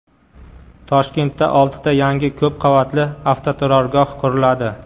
Toshkentda oltita yangi ko‘p qavatli avtoturargoh quriladi.